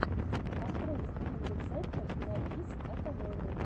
открой стрим рецептов на бис от алены